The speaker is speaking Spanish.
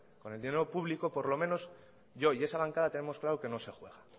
con el dinero público por lo menos yo y esa bancada tenemos claro que no se juega